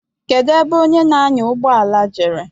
Kedu ebe onye na-anya ụgbọala jere?